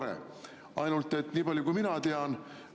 Reedel sai Ecofini kohtumisel heakskiidu taasterahastu RRF.